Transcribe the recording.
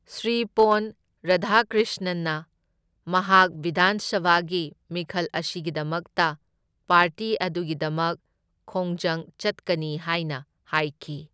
ꯁ꯭ꯔꯤ ꯄꯣꯟ ꯔꯥꯙꯥꯀ꯭ꯔꯤꯁꯅꯟꯅ ꯃꯍꯥꯛ ꯕꯤꯙꯥꯟ ꯁꯚꯥꯒꯤ ꯃꯤꯈꯜ ꯑꯁꯤꯒꯤꯗꯃꯛꯇ ꯄꯥꯔꯇꯤ ꯑꯗꯨꯒꯤꯗꯃꯛ ꯈꯣꯡꯖꯪ ꯆꯠꯀꯅꯤ ꯍꯥꯏꯅ ꯍꯥꯏꯈꯤ꯫